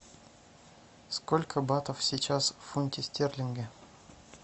сколько батов сейчас в фунте стерлинге